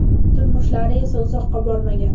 Turmushlari esa uzoqqa bormagan.